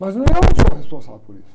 Mas não é eu que sou responsável por isso.